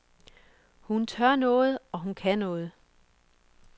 Hun tør noget, og hun kan noget.